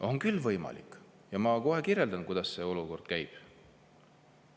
On küll võimalik ja ma kohe kirjeldan, kuidas see käib.